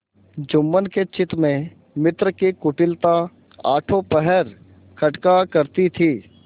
जुम्मन के चित्त में मित्र की कुटिलता आठों पहर खटका करती थी